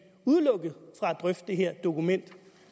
drøfte det her dokument